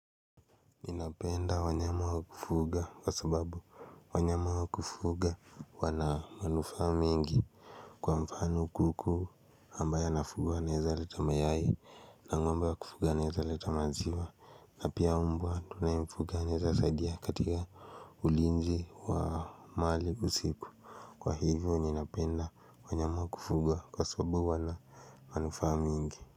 Ninapenda wanyama wa kufuga kwa sababu wanyama wa kufuga wanamanufaa mingi kwa mfano kuku ambaye nafuga anaweza leta mayai na ng'ombe wa kufuga anaweza leta maziwa na pia mbwa tunayemfuga anaweza sadia katika ulinzi wa mali usiku kwa hivyo ninapenda wanyama wa kufuga kwa sababu wanamanufaa mingi.